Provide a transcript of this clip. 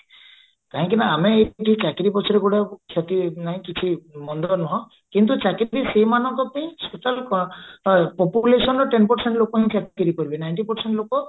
କାହିଁକିନା ଆମେ ଏମତି ଚାକିରୀ ପଛରେ ଗୋଡେଇବାକୁ କ୍ଷତି ନାହିଁ କିଛି ମନ୍ଦ ନୁହ କିନ୍ତୁ ଚାକିରୀ ସେଇମାନଙ୍କ ପାଇଁ populationର ten percent ଲୋକ ହିଁ ଚାକିରୀ କରିବେ ninety percent ଲୋକ